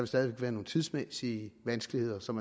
stadig væk være nogle tidsmæssige vanskeligheder som